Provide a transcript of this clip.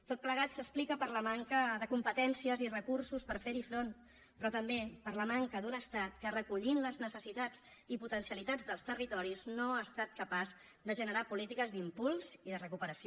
tot plegat s’explica per la manca de competències i recursos per fer hi front però també per la manca d’un estat que recollint les necessitats i potencialitats dels territoris no ha estat capaç de generar polítiques d’impuls i de recuperació